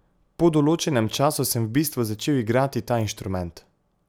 Po določenem času sem v bistvu začel igrati ta inštrument.